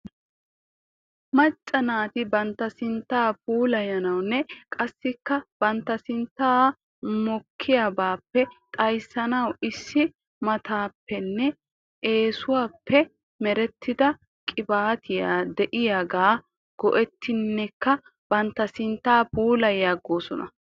Macca naati bantta sinttaa puulayanawnne qasikka bantta sinttan mokkiyaabaa xayssanaw issi maattaappenne eessaappe merettida qibaatee diyaagaa go'ettinneka bantta sinttaa puulayoosona.